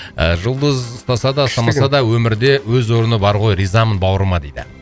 ыыы жұлдыз ұстаса да ұстамаса да өмірде өз орны бар ғой ризамын бауырыма дейді